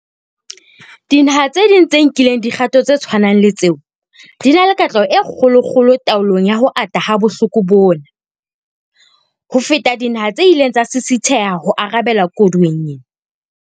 Dinaha tse ding tse nkileng dikgato tse tshwanang le tseo di na le katleho e kgolokgolo taolong ya ho ata ha bohloko bona, ho feta dinaha tse ileng tsa sisitheha ho arabela koduweng ena.